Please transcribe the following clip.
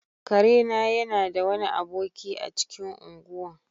Kare na yana da wani aboki a cikin ungwan.